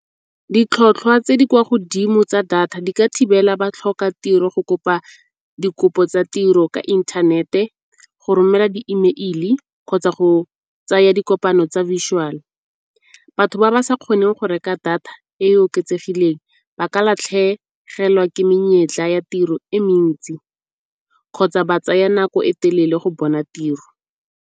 Ditlhotlhwa tse di kwa godimo tsa data di ka thibela batlhokatiro go kopa dikopo tsa tiro ka inthanete, go romela di-email-i kgotsa go tsaya dikopano tsa . Batho ba ba sa kgoneng go reka data e e oketsegileng ba ka latlhegelwa ke menyetla ya tiro e mentsi kgotsa ba tsaya nako e telele go bona tiro.